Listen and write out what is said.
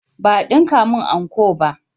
Ba a dinka mun anko ba